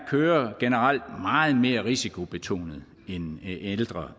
kører generelt meget mere risikobetonet end ældre